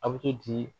A bɛ to di